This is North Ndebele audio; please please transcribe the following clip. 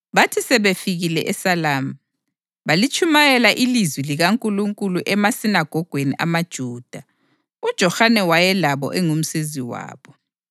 Bathi sebefikile eSalami, balitshumayela ilizwi likaNkulunkulu emasinagogweni amaJuda. UJohane wayelabo engumsizi wabo.